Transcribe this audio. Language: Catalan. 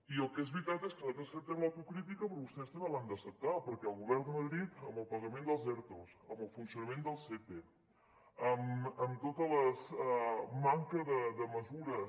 i el que és veritat és que nosaltres acceptem l’autocrítica però vostès també l’han d’acceptar perquè el govern de madrid amb el pagament dels ertos amb el funcionament del sepe amb tota la manca de mesures